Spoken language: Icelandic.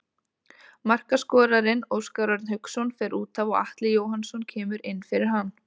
Markaskorarinn Óskar Örn Hauksson fer útaf og Atli Jóhannsson kemur inn fyrir hann.